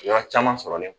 Yɔrɔ caman sɔrɔlen